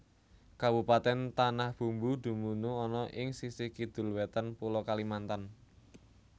Kabupatèn Tanah Bumbu dumunung ana ing sisih Kidul Wétan Pulo Kalimantan